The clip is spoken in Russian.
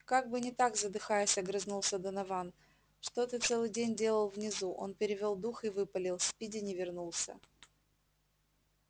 как бы не так задыхаясь огрызнулся донован что ты целый день делал внизу он перевёл дух и выпалил спиди не вернулся